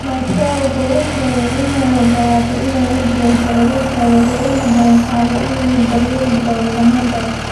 balse waxa uu sheegay in uu u ogolaaday in ay la joogto caruurteeda waxa uuna u balan qaaday in uu daryeeli doono dhamaantood.